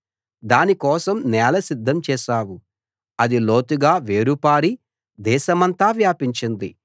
దాని కోసం నేల సిద్ధం చేశావు అది లోతుగా వేరు పారి దేశమంతా వ్యాపించింది